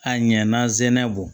A ɲɛna zɛnɛ bɔ